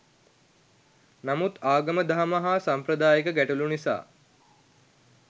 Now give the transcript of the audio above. නමුත් ආගම දහම හා සම්ප්‍රදායික ගැටළු නිසා